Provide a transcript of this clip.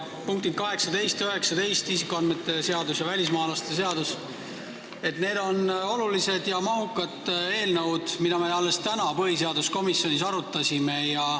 Punktid 18 ja 19, isikuandmete seadus ja välismaalaste seadus, on olulised ja mahukad eelnõud, mida me alles täna põhiseaduskomisjonis arutasime.